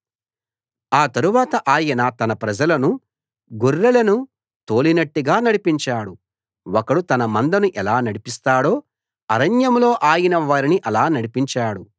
ఆ తరవాత ఆయన తన ప్రజలను గొర్రెలను తోలినట్టుగా నడిపించాడు ఒకడు తన మందను ఎలా నడిపిస్తాడో అరణ్యంలో ఆయన వారిని అలా నడిపించాడు